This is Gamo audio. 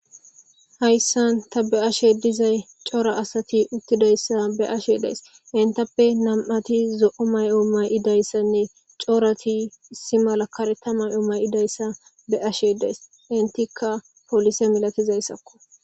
hayssan ta be ashe dizay cora asati uttidayssa be ashe days intappe nam7ati zo7o may7o may7idayssanne corati issi malakare ta may7o may7idayssa be ashe days intikka polise milatizayssakko